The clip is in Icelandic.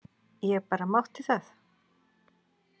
Ég bara mátti það!